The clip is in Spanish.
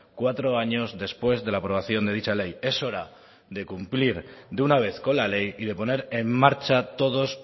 cuatro años después de la aprobación de dicha ley es hora de cumplir de una vez con la ley y de poner en marcha todos